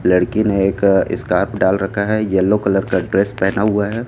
लड़की ने एक स्कार्फ डाल रखा है येलो कलर का ड्रेस पहना हुआ है।